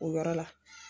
O yɔrɔ la